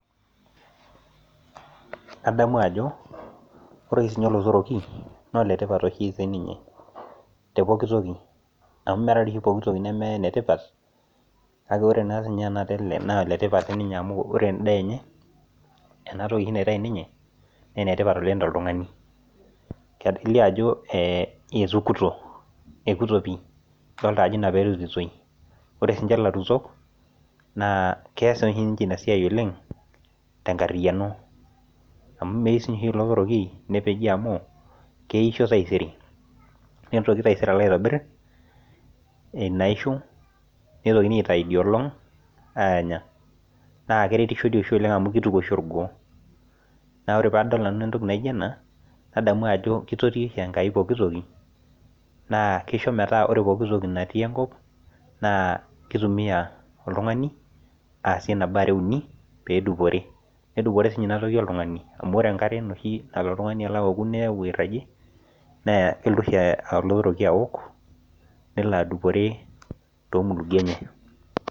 Kadamu Ajo ore sininye olotoroki naa oletipat oshi sininye tepoki toki amu mmee oshi poki toki neme enetipat kake ore sininye ele naa oletipat sininye amu ore endaa enye enatoki oshi naitau ninye naa enetipat oleng tooltung'ani kelio Ajo ekuto pii enaa peyie erutitoi ore sininje elarutok naa keas oshi ninje ena siai oleng tenkariano amu neyieu sii ninye olotoroki nipeej amu kesho taisere nitoki taisere aitobir enaishoo neitokini aitai ediolog aanya naa keretisho doi oleng amu kituku doi orgoo naa ore padol nanu entoki naijio ena nadamu Ajo kitotio oshi enkai pokitoki naa kisho metaa ore pooki toki natii enkop naa kitumiai oltung'ani asie nabo are uni pee edupore nedupore sininye enatoki oltung'ani amu ore enkare nalo oshi oltung'ani aouku niyau airajie neyaa kelotu oshi olotoriki aok nelo adupore too mulugie enye